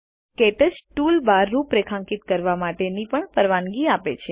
ક્ટચ ટૂલબાર રૂપરેખાંકિત કરવા માટેની પણ પરવાનગી આપે છે